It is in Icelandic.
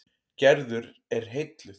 Gerður er heilluð.